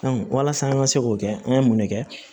walasa an ka se k'o kɛ an ye mun de kɛ